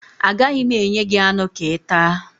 Agaghị m enye gị anụ ka ị taa